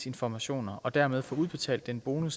informationer og dermed få udbetalt den bonus